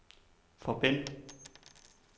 forbind